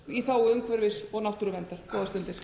í þágu umhverfis og náttúruverndar góðar stundir